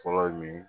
Fɔlɔ ye min ye